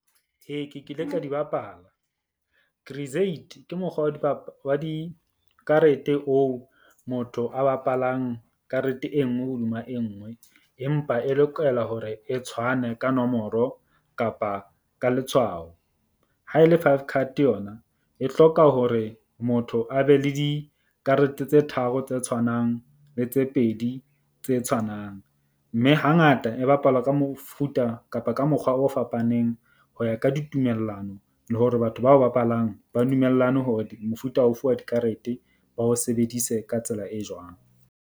Ee, ke kile ka di bapala, ke mokgwa wa wa dikarete oo motho a bapalang karete e nngwe hodima e nngwe. Empa e lokela hore e tshwane ka nomoro kapa ka letshwao. Ha e le five card yona E hloka hore motho a be le dikarete tse tharo tse tshwanang le tse pedi tse tshwanang. Mme hangata e bapalwa ka mofuta kapa ka mokgwa o fapaneng. Ho ya ka ditumellano le hore batho bao bapalang ba dumellane hore mofuta ofe wa dikarete ba o sebedise ka tsela e jwang.